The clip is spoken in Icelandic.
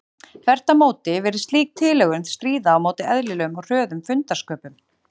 Þvert á móti virðist slík tilhögun stríða á móti eðlilegum og hröðum fundarsköpum.